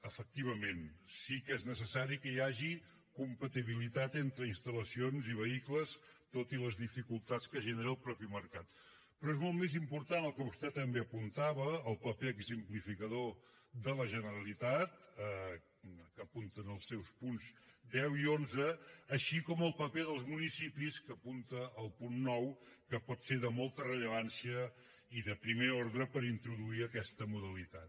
efectivament sí que és necessari que hi hagi compatibilitat entre instal·lacions i vehicles tot i les dificultats que genera el mateix mercat però és molt més important el que vostè també apuntava el paper exemplificador de la generalitat que apunten els seus punts deu i onze així com el paper dels municipis que apunta el punt nou que pot ser de molta rellevància i de primer ordre per introduir aquesta modalitat